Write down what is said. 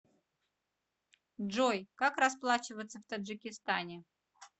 джой как расплачиваться в таджикистане